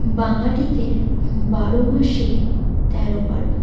বাঙালিদের হুম বারো মাসে তেরো পার্বন।